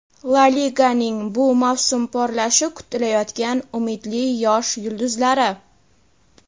La Liganing bu mavsum porlashi kutilayotgan umidli yosh yulduzlari.